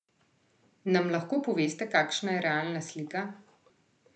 Nam lahko poveste, kakšna je realna slika?